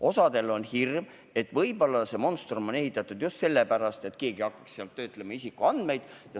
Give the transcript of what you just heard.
Osal on hirm, et võib-olla on see monstrum ehitatud just sellepärast, et keegi saaks seal isikuandmeid töötlema hakata.